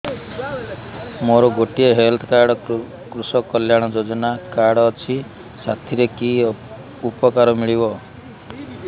ମୋର ଗୋଟିଏ health card କୃଷକ କଲ୍ୟାଣ ଯୋଜନା କାର୍ଡ ଅଛି ସାଥିରେ କି ଉପକାର ମିଳିବ